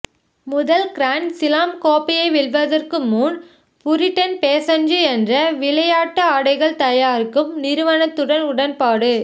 முதல் grand slam கோப்பையை வெல்வதற்கு முன் புரிடன் பேசன்சு என்ற விளையாட்டு ஆடைகள் தயாரிக்கும் நிறுவனத்துடன் உடன்பாடு